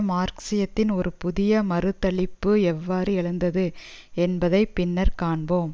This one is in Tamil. மார்க்சிசத்தின் ஒரு புதிய மறுதலிப்பு எவ்வாறு எழுந்தது என்பதை பின்னர் காண்போம்